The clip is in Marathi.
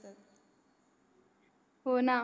हो ना